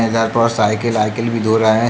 पर साइकिल आइकील भी धो रहे।